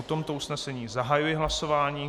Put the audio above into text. O tomto usnesení zahajuji hlasování.